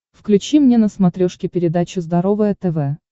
включи мне на смотрешке передачу здоровое тв